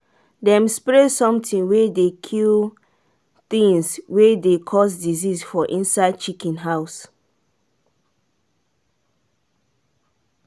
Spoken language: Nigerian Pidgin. them spray something wey dey kill things wey dey cause disease for inside chicken house.